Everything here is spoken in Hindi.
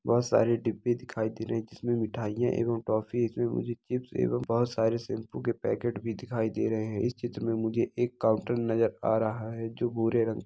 बहुत सारे डिब्बे दिखाई दे रहे हैं इसमें मिठाइयां एवं टॉफी है इसमें मुझे चिप्स एवं बहुत सारे शैंपू के पैकेट में दिखाई दे रहे हैं इस चित्र में मुझे एक काउंटर नजर आ रहा है जो भूरे रंग --